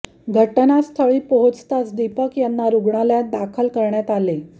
घटनास्थळी पोहोचताच दीपक यांना रुग्णालयात दाखल करण्यात आले